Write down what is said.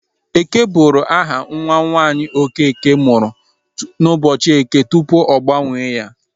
Eke bụru aha nwa nwaanyị Okeke mụrụ n'ụbọchị eke tupu ọ gbanwe ya.